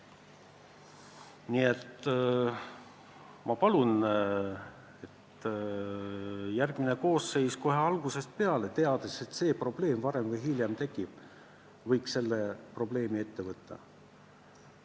Nii et ma palun, et järgmine koosseis kohe algusest peale – teades, et see probleem varem või hiljem tekib – selle lahendamise ette võtaks.